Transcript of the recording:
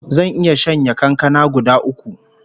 Zan iya shanye kankana guda uku